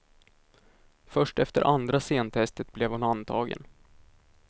Först efter andra scentestet blev hon antagen.